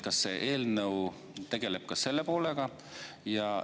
Kas see eelnõu tegeleb ka selle poolega?